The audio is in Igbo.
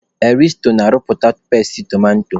Erisko na-arụpụta peesti tomato.